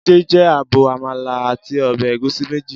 Jídé jẹ abọ́ àmàlà àti ọbẹ̀ ẹ̀gúsí méjì.